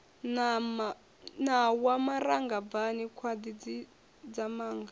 ṋawa maranga bvani gwaḓi tshidzamanga